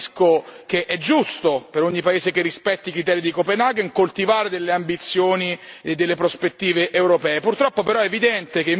Da parte nostra ribadisco che è giusto, per ogni paese che rispetti i criteri di Copenaghen, coltivare delle ambizioni e delle prospettive europee.